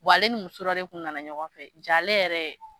Wa alen ni muso dɔ de kun nana ɲɔgɔn fɛ jalen yɛrɛ.